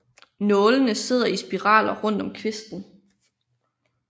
Nålene sidder i spiraler rundt om kvisten